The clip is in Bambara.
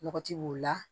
Lɔgɔti b'o la